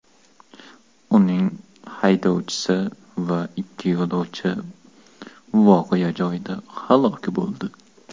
Uning haydovchisi va ikki yo‘lovchisi voqea joyida halok bo‘ldi.